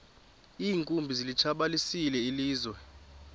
iinkumbi zilitshabalalisile ilizwe